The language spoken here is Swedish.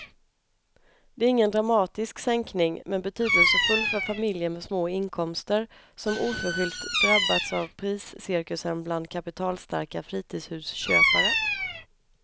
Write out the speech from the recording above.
Det är ingen dramatisk sänkning men betydelsefull för familjer med små inkomster som oförskyllt drabbats av priscirkusen bland kapitalstarka fritidshusköpare.